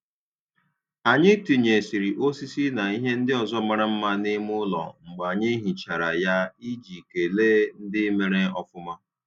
Anyị tinyesiri osisi na ihe ndị ọzọ mara mma n'ime ụlọ mgbe anyị hichara ya iji kelee ndị mere ofuma.